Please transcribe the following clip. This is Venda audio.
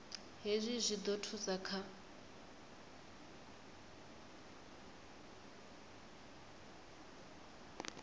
hezwi zwi ḓo thusa kha